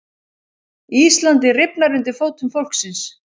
Íslandið rifnar undir fótum fólksins